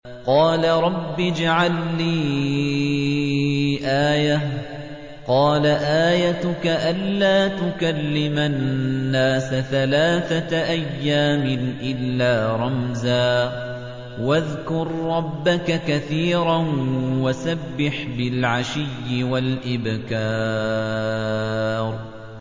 قَالَ رَبِّ اجْعَل لِّي آيَةً ۖ قَالَ آيَتُكَ أَلَّا تُكَلِّمَ النَّاسَ ثَلَاثَةَ أَيَّامٍ إِلَّا رَمْزًا ۗ وَاذْكُر رَّبَّكَ كَثِيرًا وَسَبِّحْ بِالْعَشِيِّ وَالْإِبْكَارِ